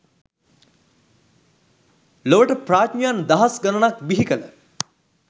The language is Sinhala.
ලොවට ප්‍රාඥයන් දහස් ගණනක් බිහිකළ